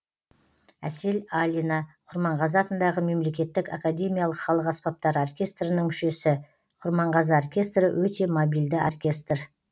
әсел алина құрманғазы атындағы мемлекеттік академиялық халық аспаптары оркестрінің мүшесі құрманғазы оркестрі өте мобильді оркестр